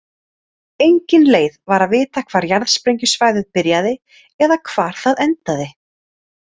Engin leið var að vita hvar jarðsprengjusvæðið byrjaði eða hvar það endaði.